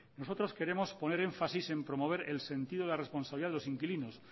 nosotros queremos poner énfasis en promover el sentido de la responsabilidad de los inquilinos